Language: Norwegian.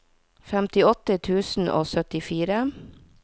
femtiåtte tusen og syttifire